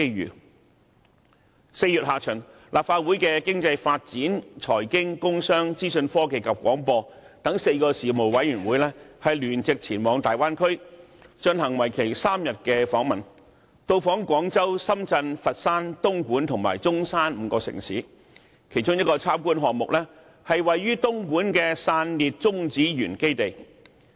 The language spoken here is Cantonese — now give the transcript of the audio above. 在4月下旬，立法會的經濟發展、財經、工商、資訊科技及廣播等4個事務委員會曾聯席前往大灣區，進行為期3天的訪問，到訪廣州、深圳、佛山、東莞及中山5個城市，其中一個參觀項目，是位於東莞的散裂中子源基地。